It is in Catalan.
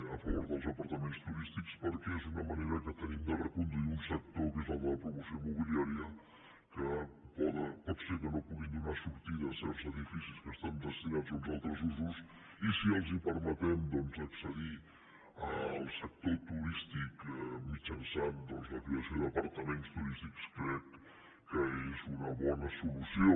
a favor dels apartaments turístics perquè és una manera que tenim de reconduir un sector que és el de la promoció immobiliària que pot ser que no puguin donar sortida a certs edificis que estan destinats a uns altres usos i si els permetem accedir al sector turístic mitjançant doncs la creació d’apartaments turístics crec que és una bona solució